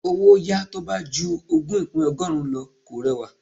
Owó yàá tó bá ju ogún ìpín ọgọ́rùn-ún lọ kò rẹwà.